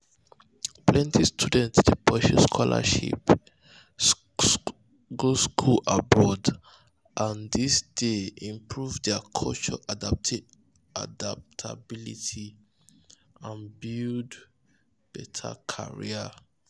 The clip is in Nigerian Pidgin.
plenty students dey pursue scholarship go school abroad and this dey improve their culture adaptability and um build better career. um